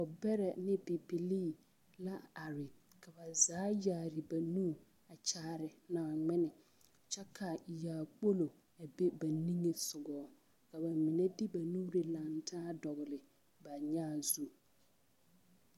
Dɔɔbɛrɛ ne bibilii la are ka ba zaa yaare ba nu a kyaare Naaŋmen kyɛ ka yaakpolo a be ba niŋesogɔ ka ba mine de ba nuuri lantaa dɔgle ba nyãã zu.